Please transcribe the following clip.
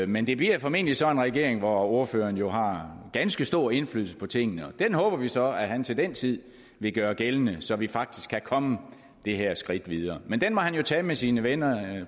men det bliver formentlig sådan en regering hvor ordføreren jo har ganske stor indflydelse på tingene og den håber vi så at han til den tid vil gøre gældende så vi faktisk kan komme det her skridt videre men den må han jo tage med sine venner